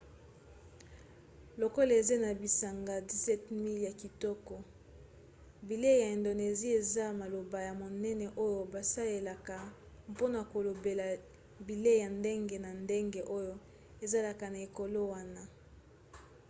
lokola eza na bisanga 17 000 ya kitoko bilei ya indonesie eza maloba ya monene oyo basalelaka mpona kolobela bilei ya ndenge na ndenge oyo ezalaka na ekolo wana